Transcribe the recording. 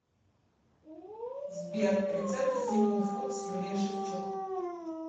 сбер рецепты симпл фуд с юлией шевчук